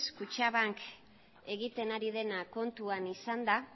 kutxabank egiten ari dena kontuan izanda